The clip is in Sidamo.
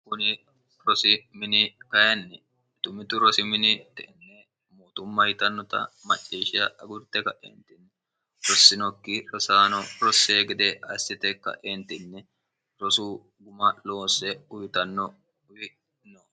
kuni rosi mini kainni dumit rosi mini te enne mootumma yitannota macciishsha agurte ka'eentinni rossinokki rosaano rossee gede ayissite ka'eentinni rosu guma loosse uyitanno uyi'no